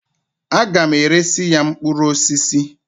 A ga m eresi ya mkpụrụ osisi.